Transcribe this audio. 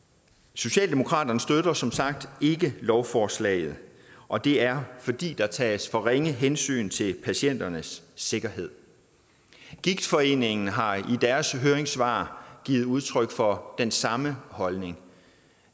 socialdemokraterne støtter som sagt ikke lovforslaget og det er fordi der tages for ringe hensyn til patienternes sikkerhed gigtforeningen har i deres høringssvar givet udtryk for den samme holdning